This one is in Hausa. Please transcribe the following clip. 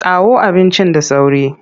Kawo abincin da sauri!